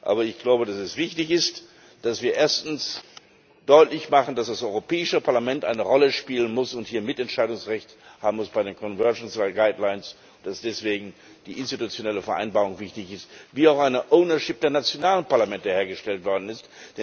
Aber ich glaube, dass es wichtig ist, dass wir erstens deutlich machen, dass das Europäische Parlament eine Rolle spielen muss und hier Mitentscheidungsrechte haben muss bei den conversions bei den guidelines und dass deswegen die institutionelle Vereinbarung wichtig ist, wie auch eine ownership der nationalen Parlamente hergestellt worden ist.